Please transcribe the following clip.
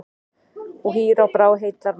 Og hýr á brá og heillar menn.